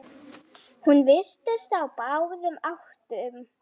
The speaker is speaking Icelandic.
Hún virtist á báðum áttum.